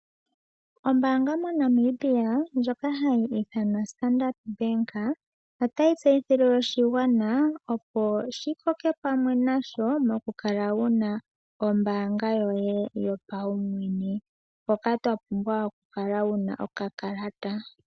Oombaanga moNamibia ndjoka hayi ithanwa Standard Bank otayi tseyithile oshigwana opo shikoke pamwe nayo mokukala wuna oombaanga yoye yopaumwene mpoka topumbwa okukala wuna okakalata.